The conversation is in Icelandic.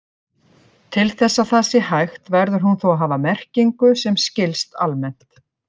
Til þess að það sé hægt verður hún þó að hafa merkingu sem skilst almennt.